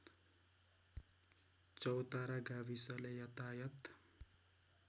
चौतारा गाविसले यातायात